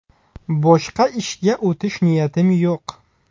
Boshqa ishga o‘tish niyatim yo‘q.